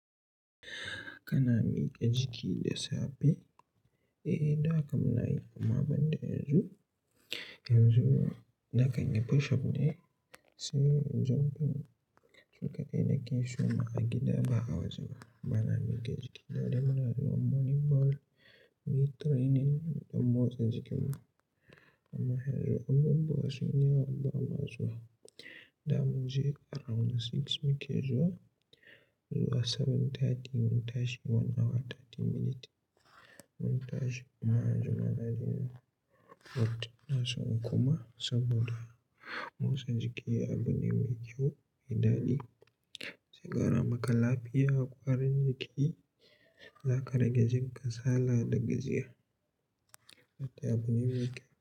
Kana miƙa jiki da safe? Eh, da kam na yi amma ban da yanzu. Yanzu na kai ni Photoshop ne, sai zoben sukadai na ke shuma a gida ba a waje ba. Bana miƙa jiki. Da dare muna zuwa morning walk, mu yi training don motsa jikinmu. Amma yanzu an bambu wasu yanawa ba ma zuwa. Za mu je around six mu ke zuwa, zuwa 7:30 mu tashi, one hour 30 minutes mu tashi. Amma yanzu maza din ba su na son kuma saboda motsa jiki abune mai kyau, mai daɗi. Zai kara maka lafiya, kwarin jiki. Za ka rage jin kasala da gajiya. Wata abune mai kyau.